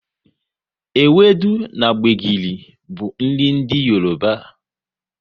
Ewudu na gbegiri bụ nri ndị Yoroba